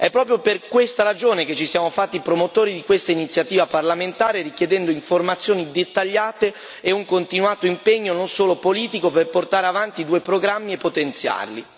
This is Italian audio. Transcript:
È proprio per questa ragione che ci siamo fatti promotori di questa iniziativa parlamentare, richiedendo informazioni dettagliate e un continuato impegno, non solo politico, per portare avanti due programmi potenziali.